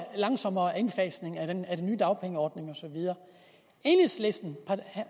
langsommere indfasning af den nye dagpengeordning og så videre